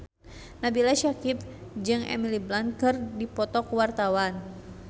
Nabila Syakieb jeung Emily Blunt keur dipoto ku wartawan